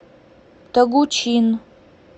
тогучин